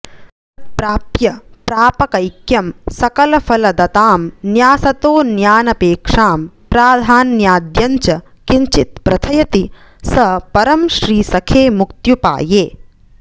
तत्प्राप्य प्रापकैक्यं सकलफलदतां न्यासतोऽन्यानपेक्षाम् प्राधान्याद्यं च किञ्चित् प्रथयति स परं श्रीसखे मुक्त्युपाये